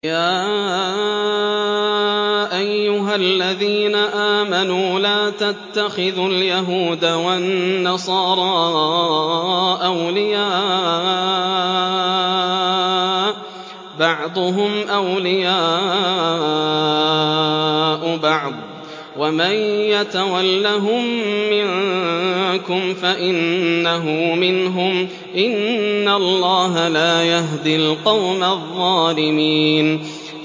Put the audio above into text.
۞ يَا أَيُّهَا الَّذِينَ آمَنُوا لَا تَتَّخِذُوا الْيَهُودَ وَالنَّصَارَىٰ أَوْلِيَاءَ ۘ بَعْضُهُمْ أَوْلِيَاءُ بَعْضٍ ۚ وَمَن يَتَوَلَّهُم مِّنكُمْ فَإِنَّهُ مِنْهُمْ ۗ إِنَّ اللَّهَ لَا يَهْدِي الْقَوْمَ الظَّالِمِينَ